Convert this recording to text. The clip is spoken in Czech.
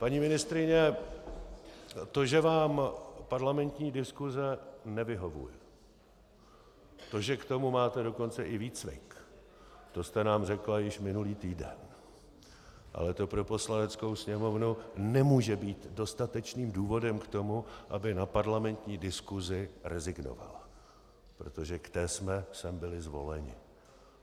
Paní ministryně, to, že vám parlamentní diskuse nevyhovuje, to, že k tomu máte dokonce i výcvik, to jste nám řekla již minulý týden, ale to pro Poslaneckou sněmovnu nemůže být dostatečným důvodem k tomu, aby na parlamentní diskusi rezignovala, protože k té jsme sem byli zvoleni.